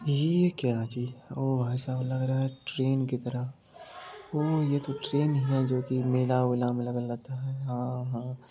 ये क्या चीज ओ भाईसाब लग रहा है ट्रेन की तरह ओ ये तो ट्रेन है जो की मेला वेला में लगा रहता है।